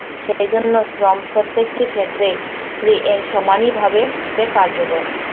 সেইজন্য শ্রম প্রত্যেকটি ক্ষেত্রেই এই সমানই ভাবে কার্যকর।